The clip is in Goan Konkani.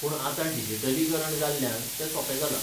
पूण आतां डिजिटलीकरण जाल्ल्यान ते सोपें जालां.